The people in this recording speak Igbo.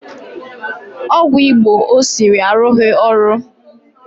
Ọgwụ Igbo o siri arụghị ọrụ